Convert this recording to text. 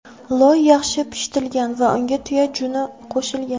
Loy yaxshi pishitilgan va unga tuya juni qo‘shilgan.